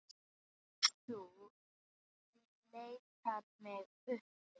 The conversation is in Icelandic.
Ef þú leitar mig uppi.